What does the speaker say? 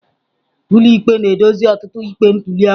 Ụlọikpe na-edozi ọtụtụ ikpe ntuli aka.